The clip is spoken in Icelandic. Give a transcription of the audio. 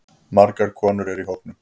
Margar konur eru í hópnum.